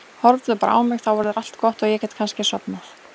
Horfðu bara á mig, þá verður allt gott og ég get kannski sofnað.